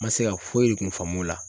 Ma se ka foyi de kun faamu o la.